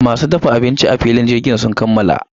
Masu dafa abinci a filin jirgin sun kammala.